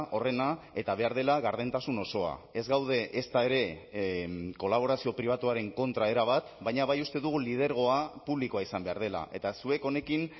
horrena eta behar dela gardentasun osoa ez gaude ezta ere kolaborazio pribatuaren kontra erabat baina bai uste dugu lidergoa publikoa izan behar dela eta zuek honekin